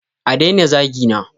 A daina zagina!